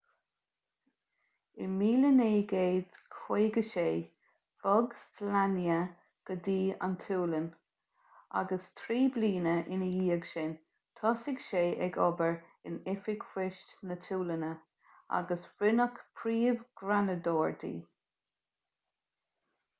in 1956 bhog słania go dtí an tsualainn agus trí bliana ina dhiaidh sin thosaigh sé ag obair in oifig poist na sualainne agus rinneadh príomh-ghreanadóir di